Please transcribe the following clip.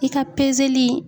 I ka